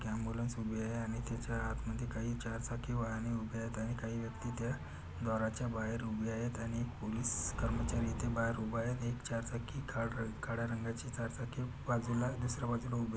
ambulance उभीय आणि त्याच्या आतमध्ये काही चार चाकी वाहने उभे आहेत आणि काही व्यक्ती त्या दाराच्या बाहेर उभ्यायत आणि पोलीस कर्मचारी येथे बाहेर उभाय एक चार चाकी काळ रंग काळा रंगाची चार चाकी बाजूला दुसऱ्या बाजूला उभी --